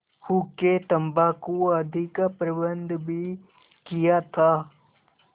हुक्केतम्बाकू आदि का प्रबन्ध भी किया था